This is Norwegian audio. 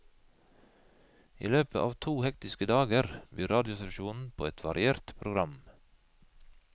I løpet av to hektiske dager byr radiostasjonen på et variert program.